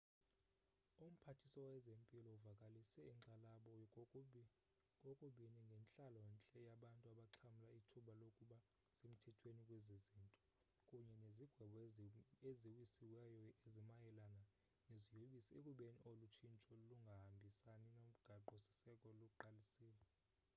umphathiswa wezempilo uvakalise inkxalabo kokubini ngentlalo-ntle yabantu abaxhamla ithuba lokuba semthethweni kwezi zinto kunye nezigwebo eziwisiweyo ezimayela neziyobisi ekubeni olu tshintsho lungahambisani nomgaqo-siseko luqalisile